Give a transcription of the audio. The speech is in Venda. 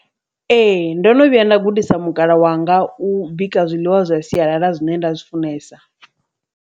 Ee, ndo no vhuya nda gudisa mukalaa wanga u bika zwiḽiwa zwa sialala zwine nda zwi funesa.